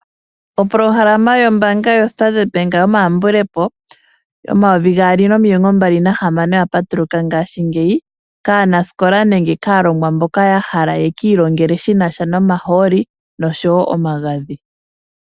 Opolohalama yombaanga yo Standard Bank yoma yambulepo yomayovi gaali nomilongo mbali nahamano oya patuluka ngaashingeyi. Kaanasikola nenge kaalongwa mboka ya hala yeki ilongele shinasha nomahooli nosho wo omagadhi.